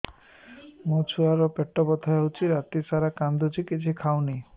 ମୋ ଛୁଆ ର ପେଟ ବଥା ହଉଚି ରାତିସାରା କାନ୍ଦୁଚି କିଛି ଖାଉନି